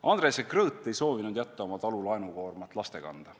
Andres ja Krõõt ei soovinud jätta oma talu laenukoormat laste kanda.